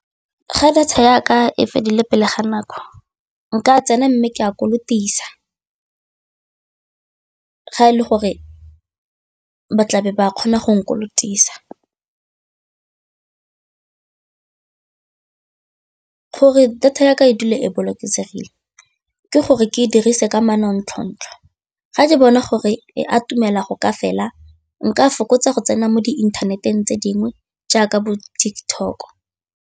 Ga data ya ka e fedile pele ga nako, nka tsena mme ke a kolotisa ga e le gore ba tlabe ba kgona go nkolotisa gore data ya ka e dula e bolokegile ke gore ke dirise ka manontlhotlho ga ke bona gore e a atumela go ka fela nka fokotsa go tsena mo diinthaneteng tse dingwe jaaka bo di-TikTok.